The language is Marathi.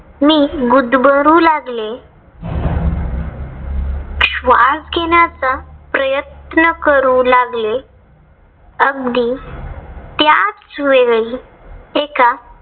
मी गुदमरू लागले. श्वास घेण्याचा प्रयत्न करू लागले. अगदी त्याचवेळी एका